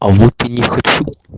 а вот и не хочу